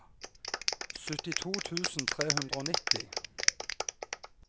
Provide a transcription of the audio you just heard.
syttito tusen tre hundre og nitti